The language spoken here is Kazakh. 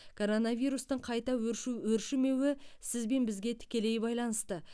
коронавирустың қайта өршу өршімеуі сіз бен бізге тікелей байланысты